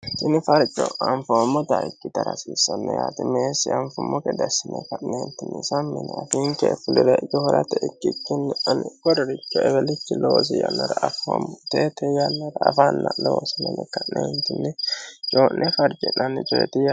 Umi farcho anfoommota ikkitara hasiissano. Qoleno coyii'ne farcira hasiissano yaate.